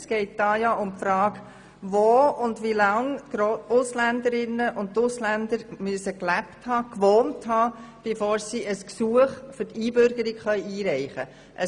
Es geht um die Frage, wo und wie lange Ausländerinnen und Ausländer gelebt respektive gewohnt haben müssen, bis sie ein Gesuch zur Einbürgerung einreichen können.